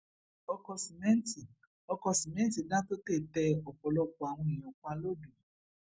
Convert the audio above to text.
ọkọ sìmẹǹtì ọkọ sìmẹǹtì dàńtọtẹ tẹ ọpọlọpọ àwọn èèyàn pa lodò